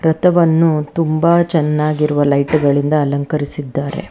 ಥವನ್ನು ತುಂಬ ಚೆನ್ನಾಗಿರುವ ಲೈಟ್ ಗಳಿಂದ ಅಲಂಕರಿಸಿದ್ದಾರೆ.